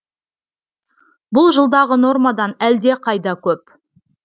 бұл жылдағы нормадан әлдеқайда көп